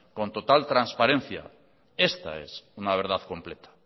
con total transparencia esta es una verdad completa